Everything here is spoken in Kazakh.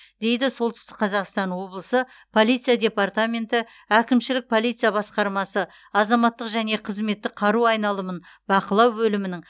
дейді солтүстік қазақстан облысы полиция департаменті әкімшілік полиция басқармасы азаматтық және қызметтік қару айналымын бақылау бөлімінің